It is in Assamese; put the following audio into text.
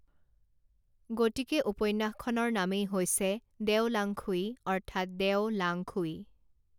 গতিকে উপন্যাসখনৰ নামেই হৈছে দেও লাঙখুই অৰ্থাৎ দেও লাঙখুই